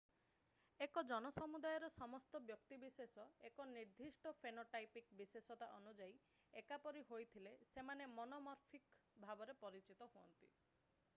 ଏକ ଜନସମୁଦାୟର ସମସ୍ତ ବ୍ୟକ୍ତିବିଶେଷ ଏକ ନିର୍ଦ୍ଦିଷ୍ଟ ଫେନୋଟାଇପିକ୍ ବିଶେଷତା ଅନୁଯାୟୀ ଏକା ପରି ହୋଇଥିଲେ ସେମାନେ ମନୋମର୍ଫିକ୍ ଭାବରେ ପରିଚିତ ହୁଅନ୍ତି